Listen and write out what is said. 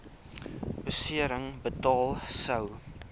besering betaal sou